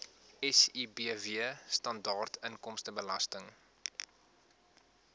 sibw standaard inkomstebelasting